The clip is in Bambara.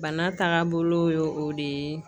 Bana taga bolo ye o de ye